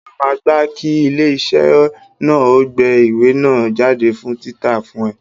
Ṣé o máa gbá kí ilé iṣẹ́ náà ó gbé ìwé náà jáde fún títa fún ẹ?